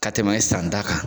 Ka tɛmɛ e san ta kan